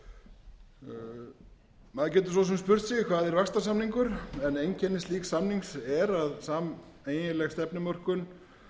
maður getur svo sem spurt sig hvað er vaxtarsamningar en einkenni slíks samnings er að sameiginleg stefnumörkun